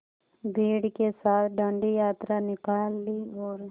भीड़ के साथ डांडी यात्रा निकाली और